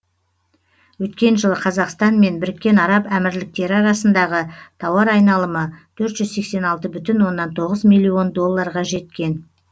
өткен жылы қазақстан мен біріккен араб әмірліктері арасындағы тауар айналымы төрт жүз сексен алты бүтін оннан тоғыз миллион долларға жеткен